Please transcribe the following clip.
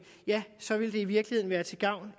så vil det i virkeligheden være til gavn